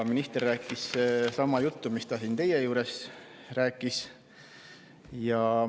Minister rääkis sama juttu, mis ta siin teie ees rääkis.